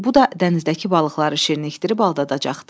Bu da dənizdəki balıqları şirinləşdirib aldadacaqdı.